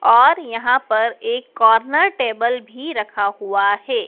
और यहां पर एक कॉर्नर टेबल भी रखा हुआ है।